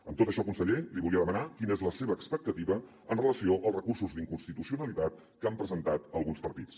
amb tot això conseller li volia demanar quina és la seva expectativa en relació amb els recursos d’inconstitucionalitat que han presentat alguns partits